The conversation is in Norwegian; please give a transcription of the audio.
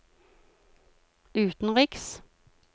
utenriks